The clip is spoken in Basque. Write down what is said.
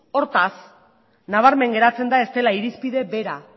hortaz nabarmen geratzen da ez dela irizpide bera